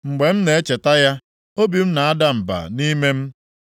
Mgbe m na-echeta ya, obi m na-ada mba nʼime m.